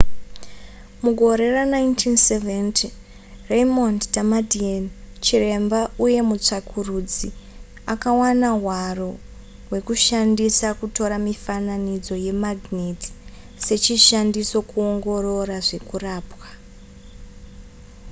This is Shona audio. mugore ra1970 raymond damadian chiremba uye mutsvakurudzi akawana hwaro hwekushandisa kutora mifananidzo yemagineti sechishandiso kungoorora zvekurapwa